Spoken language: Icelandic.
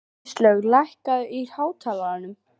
Kristlaug, lækkaðu í hátalaranum.